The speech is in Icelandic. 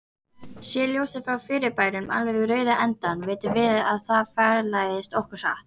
Sé ljósið frá fyrirbærinu alveg við rauða endann, vitum við að það fjarlægist okkur hratt.